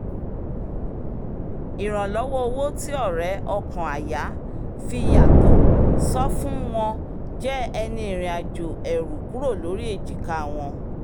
ìrànlọ́wọ́ owó tí ọ̀rẹ́ ọkàn-àyá fi yàtọ̀ sọ́fún wọn jẹ́ ẹni ìrìnàjò ẹ̀rù kúrò lórí ejika wọn